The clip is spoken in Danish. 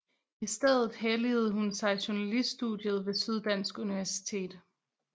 I stedet helligede hun sig journaliststudiet ved Syddansk Universitet